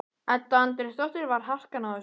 Edda Andrésdóttir: Var harkan á þessu?